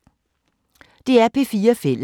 DR P4 Fælles